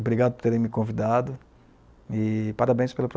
Obrigado por terem me convidado e parabéns pelo projeto.